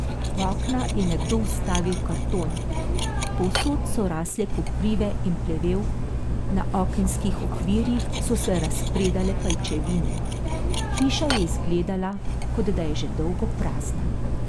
V okna je nekdo vstavil karton, povsod so rasle koprive in plevel, na okenskih okvirjih so se razpredale pajčevine, hiša je izgledala, kot da je že dolgo prazna.